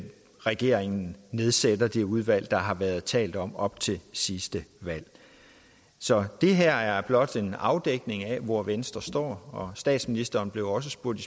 regeringen nedsætter det udvalg der har været talt om op til sidste valg så det her er blot en afdækning af hvor venstre står statsministeren blev også spurgt